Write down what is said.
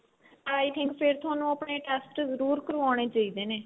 i think ਫ਼ਿਰ ਤੁਹਾਨੂੰ ਆਪਣੇ test ਜਰੂਰ ਕਰਵਾਉਣੇ ਚਾਹੀਦੇ ਨੇ